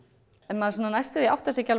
maður næstum áttar sig ekki